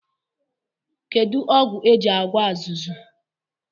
Kedụ ọgwụ e ji agwọ azụzụ?